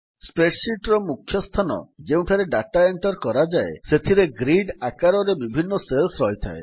spreadsheet ର ମୁଖ୍ୟ ସ୍ଥାନ ଯେଉଁଠାରେ ଡାଟା ଏଣ୍ଟର୍ କରାଯାଏ ସେଥିରେ ଗ୍ରିଡ୍ ଆକାରରେ ବିଭିନ୍ନ ସେଲ୍ସ ରହିଥାଏ